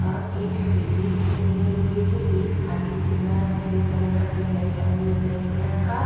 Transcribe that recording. और एक सीढ़ी दिख रही है लोहे की। एक आदमी दिख रहा है सफेद कलर का टी-शर्ट पहने हुए। ब्लैक कलर का --